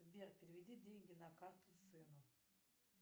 сбер переведи деньги на карту сыну